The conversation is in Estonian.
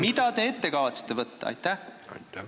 Mida te kavatsete ette võtta?